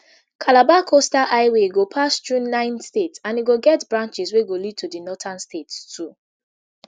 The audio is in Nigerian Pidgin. calabar coastal highway go pass thru nine states and e go get branches wey go lead to di northern states too